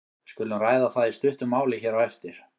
Við skulum ræða það í stuttu máli hér á eftir.